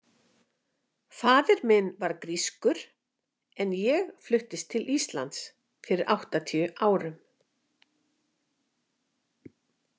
Faðir minn var grískur en ég fluttist til Íslands fyrir áttatíu árum.